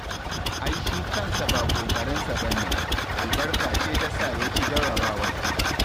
Ai shi kansa ba ƙoƙarinsa ba ne, albarka ce ta sa ya ci jarrabawar